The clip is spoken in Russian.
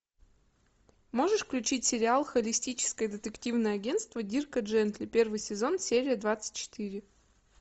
можешь включить сериал холистическое детективное агентство дирка джентли первый сезон серия двадцать четыре